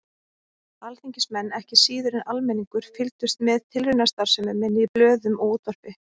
Alþingismenn, ekki síður en almenningur, fylgdust með tilraunastarfsemi minni í blöðum og útvarpi.